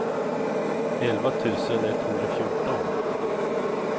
elva tusen etthundrafjorton